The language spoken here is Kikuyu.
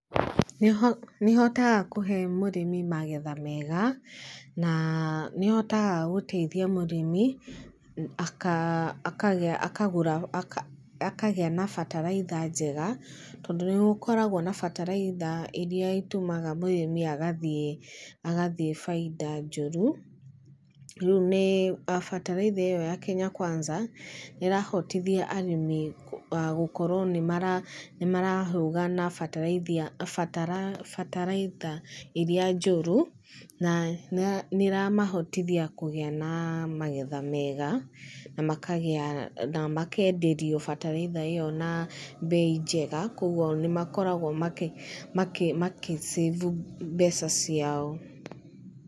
Nĩhotaga kũhe mũrĩmi magetha mega, na nĩ ĩhotaga gũteithia mũrĩmi akagĩa na bataraitha njega, tondũ nĩgũkoragwo na bataraitha iria itumaga mũrĩmi agathiĩ baida njũru. Rĩu bataraitha ĩyo ya Kenya Kwanza nĩ ĩrahotothia arĩmi gũkorwo nĩ marehũga na bataraitha iria njũru, na nĩ ĩramahotithia kũgĩa na magetha mega, na makenderio bataraitha ĩyo na mbei njega. Kogwo nĩ makoragwo makĩcĩbu mbeca ciao.